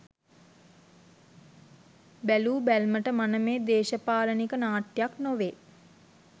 බැලූ බැල්මට මනමේ දේශපාලනික නාට්‍යයක් නොවේ.